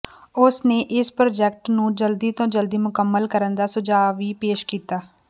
ਉਸ ਨੇ ਇਸ ਪ੍ਰਾਜੈਕਟ ਨੂੰ ਜਲਦੀ ਤੋਂ ਜਲਦੀ ਮੁਕੰਮਲ ਕਰਨ ਦਾ ਸੁਝਾਅ ਵੀ ਪੇਸ਼ ਕੀਤਾ